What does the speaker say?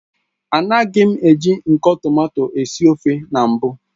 Anagim eji nko tomato esi ofe na mbu